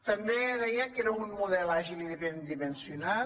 també deia que era un model àgil i ben dimensionat